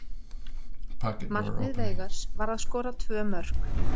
Markmið Veigars var að skora tvö mörk.